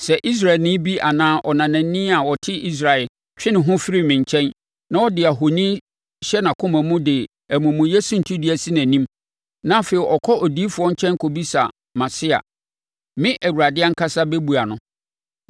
“ ‘Sɛ Israelni bi anaa ɔnanani a ɔte Israel twe ne ho firi me nkyɛn na ɔde ahoni hyɛ nʼakoma mu de amumuyɛ suntidua si nʼanim, na afei ɔkɔ odiyifoɔ nkyɛn kɔbisa mʼase a, me, Awurade ankasa bɛbua no.